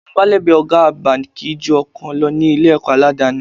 Amúgbálẹ́gbẹ̀ẹ́ ọ̀gá àgbà kì í ju ọ̀kan lọ ní Ilé-ẹ̀kọ́ aládani